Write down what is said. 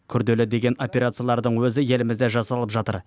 күрделі деген операциялардың өзі елімізде жасалып жатыр